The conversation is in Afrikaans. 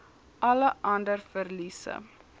alle ander verliese